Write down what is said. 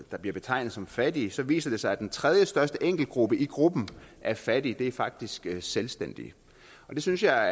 der bliver betegnet som fattige viser det sig at den tredjestørste enkeltgruppe i gruppen af fattige faktisk er selvstændige og det synes jeg